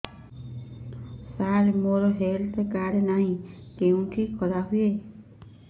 ସାର ମୋର health card ନାହିଁ କେଉଁଠି କରା ହୁଏ